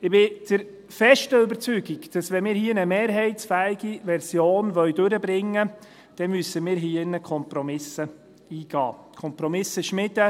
Ich bin der festen Überzeugung, wenn wir hier eine mehrheitsfähige Version durchbringen wollen, dann müssen wir hier im Grossen Rat Kompromiss eingehen, Kompromisse schmieden.